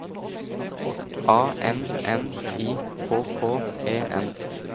A N N I K K E N